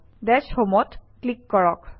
DashHome অত click কৰক